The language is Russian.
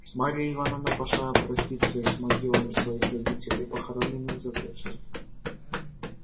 марья ивановна пошла проститься с могилами своих родителей похороненных за церковью